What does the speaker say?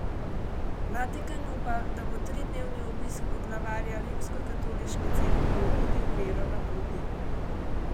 Vatikan upa, da bo tridnevni obisk poglavarja Rimskokatoliške cerkve obudil vero na Kubi.